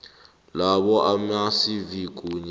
labo amacv kunye